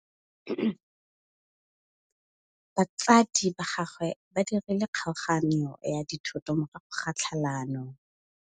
Batsadi ba gagwe ba dirile kgaoganyô ya dithoto morago ga tlhalanô.